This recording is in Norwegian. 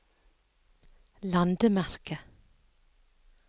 landemerke